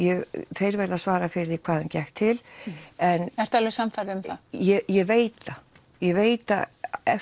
þeir verða að svara fyrir hvað þeim gekk til ertu alveg sannfærð um það ég veit það ég veit það